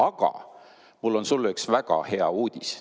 Aga mul on sulle üks väga hea uudis.